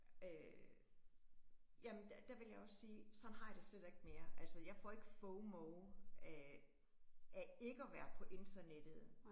Øh jamen, der der vil jeg også sige, sådan har jeg det slet ikke mere. Altså jeg får ikke fomo af af ikke at være på internettet